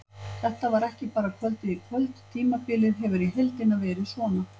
Þetta var ekki bara kvöldið í kvöld, tímabilið hefur í heildina verið svona.